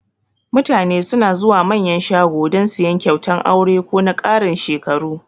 Mutane suna zuwa Manyan shago dan siyan kyautan aure ko na karin shekaru